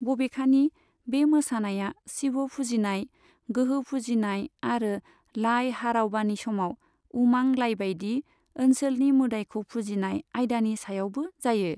बबेखानि, बे मोसानाया शिब फुजिनाय, गोहो फुजिनाय आरो लाई हारावबानि समाव उमां लाईबायदि ओनसोलनि मोदाइखौ फुजिनाय आयदानि सायावबो जायो।